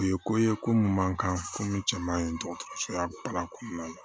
U ye ko ye ko mun man kan ko cɛ man ɲi dɔgɔtɔrɔsoya baara kɔnɔna na